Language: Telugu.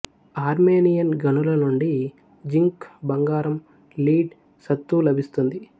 ఆర్మేనియన్ గనుల నుండి జింక్ బంగారం లీడ్ సత్తు లభిస్తుంది